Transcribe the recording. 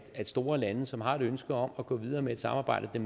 at store lande som har et ønske om at gå videre med et samarbejde